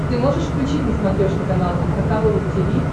ты можешь включить на смотрешке канал эн эйч кей волд ти ви